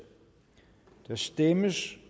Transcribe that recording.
der stemmes